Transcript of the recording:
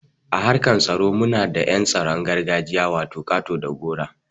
A harkan tsaro muna da yan tsaron gargajiya wato ƙato da gora.